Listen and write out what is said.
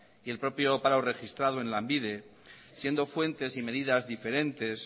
y el propio paro registrado en lanbide siendo fuentes y medidas diferentes